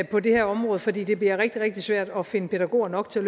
på det her område fordi det bliver rigtig rigtig svært at finde pædagoger nok til